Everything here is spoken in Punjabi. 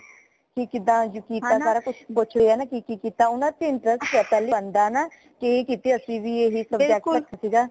ਕਿਦਾ ਕੀਤਾ ਸਾਰਾ ਕੁੱਛ ਪੁੱਛ ਲਿਆ ਕਿ ਕਿ ਕਿ ਕੀਤਾ ਊਨਾ ਚ interest ਪਹਿਲਾ ਹੀ ਨਾ ਕਿ ਕੀਤੇ ਹੀ subject ਸੀਗਾ